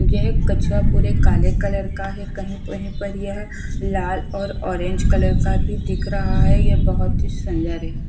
यह कछुआ पूरे काले कलर का है कहीं कहीं पर यह लाल और ऑरेंज कलर का भी दिख रहा है यह बहुत ही सुंदर है।